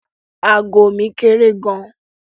Ago mi kéré gan-an.